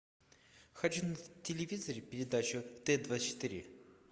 хочу на телевизоре передачу т двадцать четыре